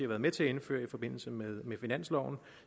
været med til at indføre i forbindelse med finansloven